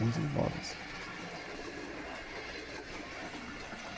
Muitos imóveis.